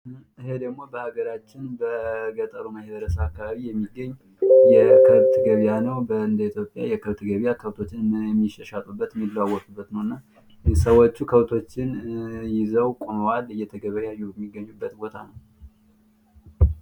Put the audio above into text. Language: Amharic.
ይሄ ደግሞ በአገራችን በገጠሩ ማህበረሰብ አካባቢ የሚገኝ የከብት ገበያ ነዉ። እንደ ኢትዮጵያ የከብት ገበያ ከብቶችን የሚሸሻጡበት የሚለዋወጡበት ነዉ እና ሸዎቹ ከብቶቹን ይዘዋል እየተገበያዩ የሚገኙበት ቦታ ነዉ።